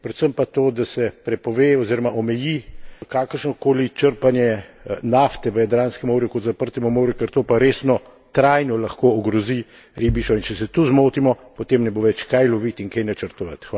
Predvsem pa to, da se prepove oziroma omeji kakršno koli črpanje nafte v Jadranskem morju kot zaprtemu morju, ker to pa resno trajno lahko ogrozi ribištvo in če se tu zmotimo, potem ne bo več kaj lovit in kaj načrtovat.